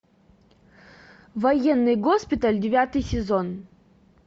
военный госпиталь девятый сезон